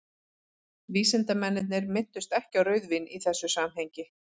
vísindamennirnir minntust ekki á rauðvín í þessu samhengi